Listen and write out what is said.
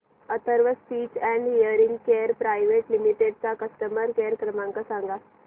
Atharva speech and hearing care private limited चा customer care क्रमांक सांगा